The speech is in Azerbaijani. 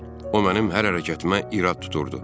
O mənim hər hərəkətimə irad tuturdu.